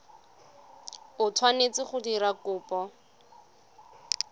o tshwanetseng go dira kopo